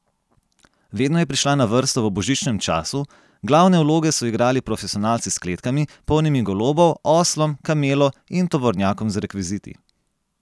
Vedno je prišla na vrsto v božičnem času, glavne vloge so igrali profesionalci s kletkami, polnimi golobov, oslom, kamelo in tovornjakom z rekviziti.